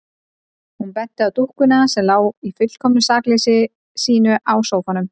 Hún benti á dúkkuna sem lá í fullkomnu sakleysi sínu á sófanum.